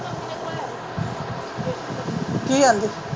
ਕੀ ਗੱਲ ਹੈ